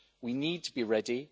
We need to be ready.